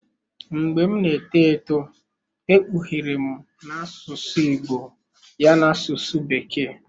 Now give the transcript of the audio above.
Mgbe m na-eto eto e kpughere m na asụsụ Igbo ya n'asụsụ bekee.